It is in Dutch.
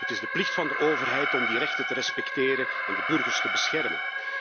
Het is de plicht van de overheid om die rechten te respecteren en de burgers te beschermen.